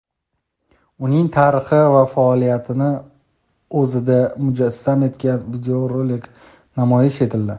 uning tarixi va faoliyatini o‘zida mujassam etgan videorolik namoyish etildi.